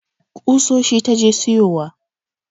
Kusoshi ta je siyowa